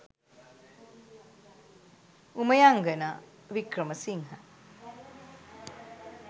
umayangana wickramasinhe